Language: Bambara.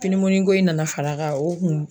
Pinimuniko in na far'a kan o kun